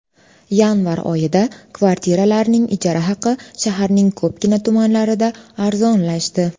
Yanvar oyida kvartiralarning ijara haqi shaharning ko‘pgina tumanlarida arzonlashdi.